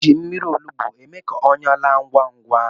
Ana-eji mmiri olugbu eme ka ọnyá laa ngwá ngwá.